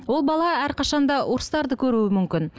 ол бала әрқашан да ұрыстарды көруі мүмкін